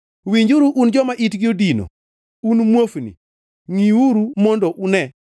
“Winjuru un joma itgi odino un muofni ngʼiuru mondo une!